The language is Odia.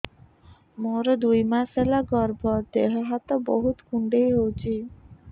ମୋର ଦୁଇ ମାସ ହେଲା ଗର୍ଭ ଦେହ ହାତ ବହୁତ କୁଣ୍ଡାଇ ହଉଚି